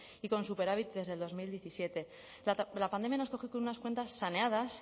y con superávit desde el dos mil diecisiete la pandemia nos coge con unas cuentas saneadas